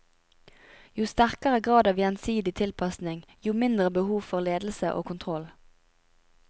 Jo sterkere grad av gjensidig tilpasning, jo mindre behov for ledelse og kontroll.